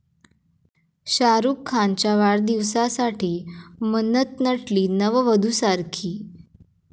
शाहरूख खानच्या वाढदिवसासाठी 'मन्नत' नटली नववधूसारखी!